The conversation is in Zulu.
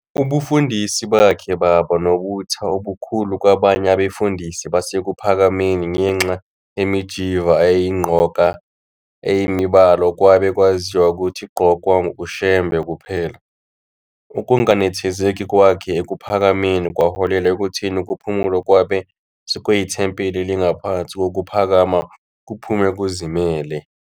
Ubufundisi bakhe baba nobutha obukhulu kwabanye abefundisi baseKuphakameni ngenxa yemijiva ayeyigqoka eyimibala okwabe kwaziwa ukuthi igqokwa uShembe kuphela. Ukunganethezeki kwakhe eKuphakameni kwaholela ekutheni uKuphumula okwabe sekuyithempeli elingaphansi kokuPhakama kuphume kuzimele.